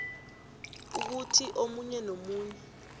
ukuthi omunye nomunye